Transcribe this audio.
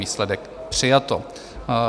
Výsledek: přijato.